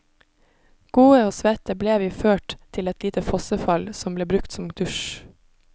Gode og svette ble vi ført til et lite fossefall som ble brukt som dusj.